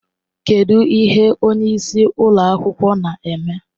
Kedụ ihe onye isi ụlọ akwụkwọ na-eme?